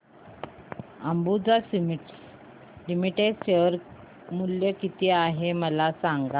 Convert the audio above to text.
Ambuja cements limited share मूल्य किती आहे मला सांगा